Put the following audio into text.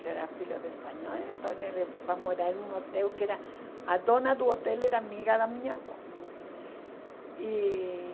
Ele era filho de espanhol, então ele foi morar num hotel que era... A dona do hotel era amiga da minha avó. Hum... E...